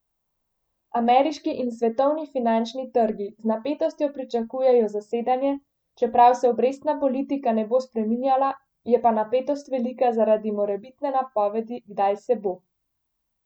Ameriški in svetovni finančni trgi z napetostjo pričakujejo zasedanje, čeprav se obrestna politika ne bo spreminjala, je pa napetost velika zaradi morebitne napovedi, kdaj se bo.